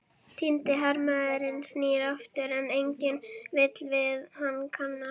Týndi hermaðurinn snýr aftur, en enginn vill við hann kannast.